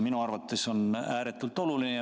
Minu arvates on see ääretult oluline.